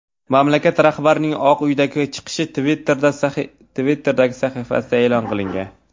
Mamlakat rahbarining Oq uydagi chiqishi Twitter’dagi sahifasida e’lon qilingan .